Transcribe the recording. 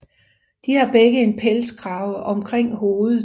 De har begge en pelskrave omkring hovedet